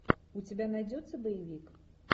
у тебя найдется боевик